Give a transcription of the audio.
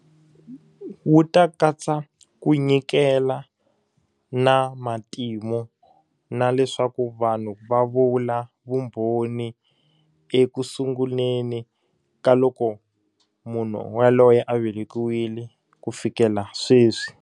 Wu ta katsa ku nyikela, na matimu, na leswaku vanhu va vula vumbhoni ekusunguleni ka loko munhu yaloye a velekiwile ku fikela sweswi.